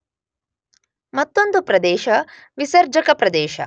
ಮತ್ತೊಂದು ಪ್ರದೇಶ ವಿಸರ್ಜಕ ಪ್ರದೇಶ.